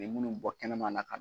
U ye munnu bɔ kɛnɛman na ka.